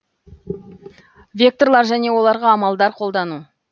векторлар және оларға амалдар қолдану